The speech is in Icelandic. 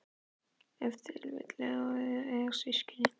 Ef til vill er það þannig að eiga systkin?